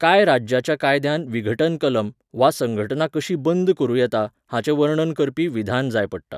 कांय राज्याच्या कायद्यांत विघटन कलम, वा संघटना कशी बंद करूं येता हाचें वर्णन करपी विधान जाय पडटा.